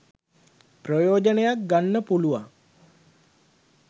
ප්‍රයෝජනයක් ගන්න පුළුවන්